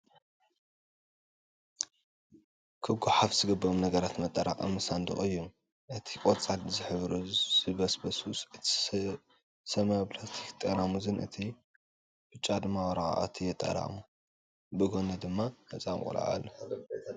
ክጓሓፋ ዝግበኦም ነገራት መጠራቀሚ ሳንዱቅ እዩ፡፡ እቲ ቆፃል ዝሕብሩ ዝብስብሱ፣ እቲ ሰማያዊ ፕላስቲክን ጠራሙዝን እቲ ብጫ ድማ ወረቃቅቲ የጠራቅሙ፡፡ ብጎኒ ድማ ህፃን ቆልዓ ኣሎ፡፡